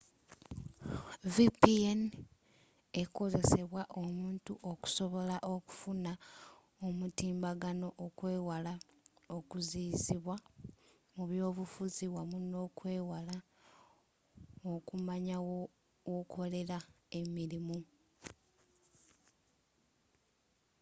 vpn ekozesebwa omuntu okusobola okufuna omutimbagano okwewala okuziyizibwa mu byobufuzi wamu n'okwewala okumanya wakolera emirimu